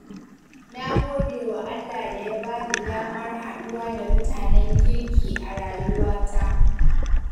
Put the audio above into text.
Na gode wa Allah da ya bani damar haɗuwa da mutanen kirki a rayuwata.